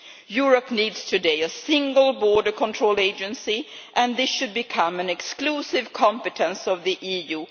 Europe needs today a single border control agency and this should become an exclusive competence of the EU.